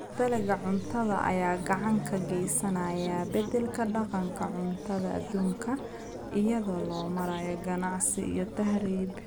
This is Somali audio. Dalagga cunnada ayaa gacan ka geysanaya beddelka dhaqanka cuntada adduunka, iyada oo loo marayo ganacsi iyo tahriib.